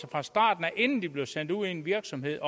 fra starten af inden de bliver sendt ud i en virksomhed